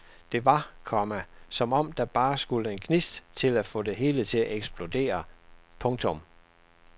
Det var, komma som om der bare skulle en gnist til at få det hele til at eksplodere. punktum